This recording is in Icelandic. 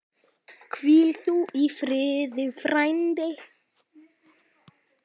Hvíl þú í friði frændi.